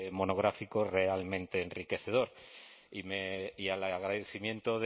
monográfico realmente enriquecedor y al agradecimiento